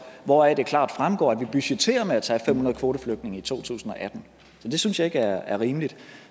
hvoraf det klart fremgår at vi budgetterer med at tage fem hundrede kvoteflygtninge i to tusind og atten så det synes jeg ikke er rimeligt